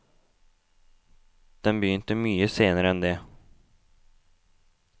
Den begynte mye senere enn det.